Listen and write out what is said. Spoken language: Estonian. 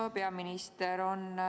Hea peaminister!